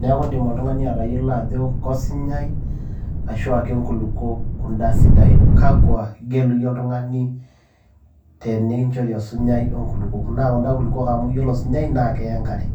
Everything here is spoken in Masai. neeku keidim oltung'ani atayiolo ajo kosinyai ashu kenkulukuok kunda sidain. Kakua igelu iyie oltung'ani tenikinchori osinyai o inkulukuok? naa kunda kulukuok amu ore osinyai naa keya enkare.